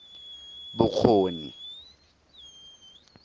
bokgoni